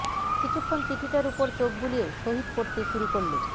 কিছুক্ষণ চিঠিটার ওপর চোখ বুলিয়ে শহীদ পড়তে শুরু করলোঃ